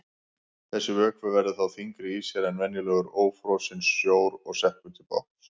Þessi vökvi verður þá þyngri í sér en venjulegur ófrosinn sjór og sekkur til botns.